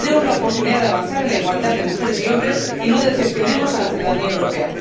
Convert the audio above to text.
Tenemos la oportunidad de avanzar en la igualdad de mujeres y hombres y no decepcionemos a la ciudadanía europea.